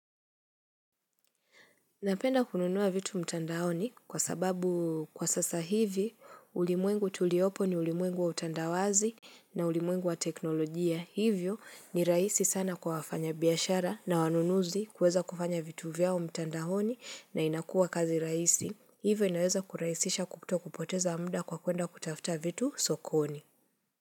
Napenda kununua vitu mtandaoni kwa sababu kwa sasa hivi ulimwengu tuliopo ni ulimwengu wa utandawazi na ulimwengu wa teknolojia hivyo ni rahisi sana kwa wafanya biashara na wanunuzi kuweza kufanya vitu vyao mtandaoni na inakuwa kazi rahisi hivyo inaweza kurahisisha kuto kupoteza mda kwa kuenda kutafuta vitu sokoni.